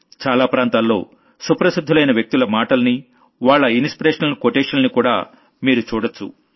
చాలా ప్రాంతాల్లో వీళ్లు సుప్రసిద్ధులైన వ్యక్తుల మాటల్ని వాళ్ల ఇన్స్పిరేషనల్ కొటేషన్లని కూడా మీరు చూడొచ్చు